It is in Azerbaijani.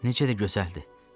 Necə də gözəldir!